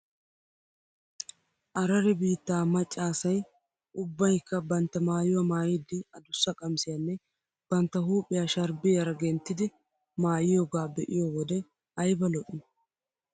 Araare biittaa macca asay ubbaykka bantta maayuwaa maayiiddi adussa qamissiyaanne bantta huuphphiyaa sharbbiyaara genttidi maayiyoogaa be'iyoo wode ayba lo'ii .